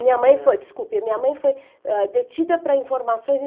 Minha mãe foi desculpe, minha mãe foi, ah, detida para informações